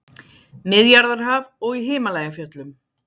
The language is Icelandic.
Miðjarðarhaf og í Himalajafjöllum.